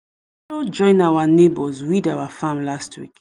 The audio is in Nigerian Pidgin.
join our neighbours weed our farm every week